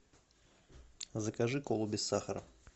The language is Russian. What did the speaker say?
закажи колу без сахара